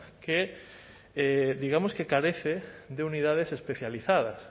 que digamos que carece de unidades especializadas